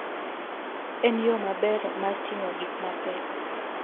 En yo maber mar ting'o gik mapek.